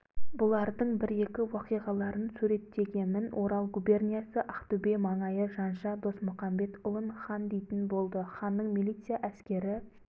бұлардың бір-екі уақиғаларын суреттегемін орал губерниясы ақтөбе маңайы жанша досмұқамбетұлын хан дейтін болды ханның милиция әскері